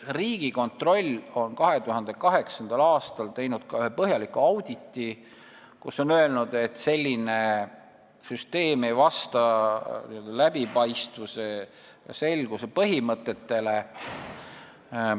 Riigikontroll tegi 2008. aastal ka ühe põhjaliku auditi, kus on öeldud, et selline süsteem ei vasta läbipaistvuse ja selguse põhimõtetele.